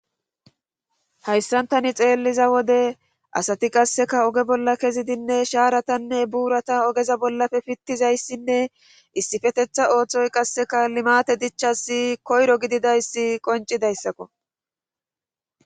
hayssantani xeelliza wode asati qasseka oge bolla kezidinne shaaratanne buurata ogeza bollafe pittizayssinne issifetetha ooththoy qasseka limate dichchasi koyro gididayssi qoncidayssakko